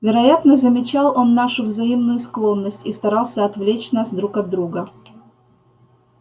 вероятно замечал он нашу взаимную склонность и старался отвлечь нас друг от друга